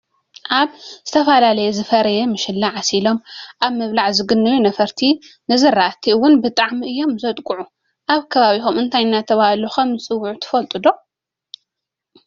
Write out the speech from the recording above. ኣብ ዝተፈላለየ ዝፈረየ ምሸላ ዓሲሎም ኣብ ምብላዕ ዝግነዩ ነፈርቲ ንዝራእት እውን ብጣዕሚ እዮም ዘጥቅዑ። ኣብ ከባቢኩም እንታይ እናተባሃሉ ከምዝፅዉዑ ትፈልጡ ዶ?